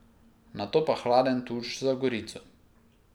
Nato pa hladen tuš za Gorico.